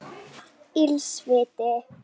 Ills viti